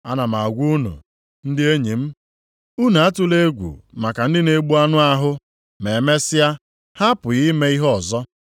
“Ana m agwa unu, ndị enyi m, unu atụla egwu maka ndị na-egbu anụ ahụ ma e mesịa, ha apụghị ime ihe ọzọ.